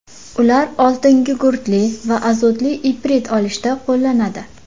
Ular oltingugurtli va azotli iprit olishda qo‘llanadi.